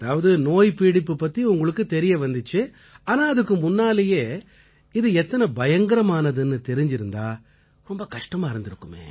அதாவது நோய் பீடிப்பு பத்தி உங்களுக்குத் தெரிய வந்திச்சு ஆனா அதுக்கு முன்னாலயே இது எத்தனை பயங்கரமானதுன்னு தெரிஞ்சிருந்திச்சா ரொம்ப கஷ்டமா இருந்திருக்குமே